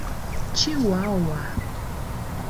чиуауа